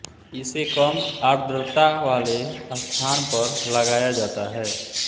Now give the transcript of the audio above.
इसे कम आर्द्रता वाले स्थान पर लगाया जाता है